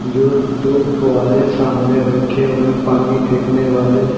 जो दो फव्वारे सामने रखे हुए हैं पानी फेंकने वाले।